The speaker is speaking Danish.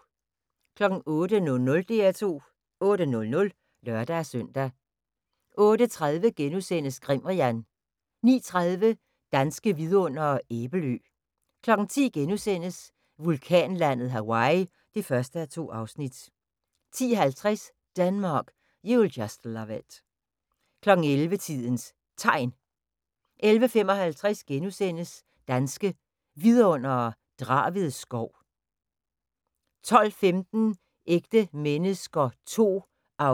08:00: DR2 8:00 (lør-søn) 08:30: Grimrian * 09:30: Danske Vidundere: Æbelø 10:00: Vulkanlandet Hawaii (1:2)* 10:50: Denmark, You'll Just Love It 11:00: Tidens Tegn 11:55: Danske Vidundere: Draved skov * 12:15: Ægte mennesker II (1:10)